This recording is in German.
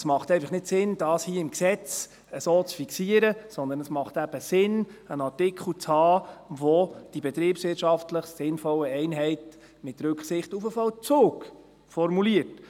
Es macht einfach nicht Sinn, das hier im Gesetz so zu fixieren, sondern es macht eben Sinn, einen Artikel zu haben, der die betriebswirtschaftlich sinnvollen Einheiten «mit Rücksicht auf den Vollzug» formuliert.